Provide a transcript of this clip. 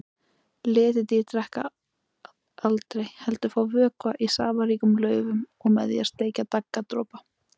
Letidýr drekka aldrei heldur fá vökva í safaríkum laufum og með því að sleikja daggardropa.